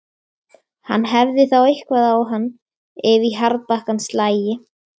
Hann hefði þá eitthvað á hann, ef í harðbakkann slægi.